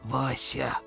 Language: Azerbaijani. Vasia!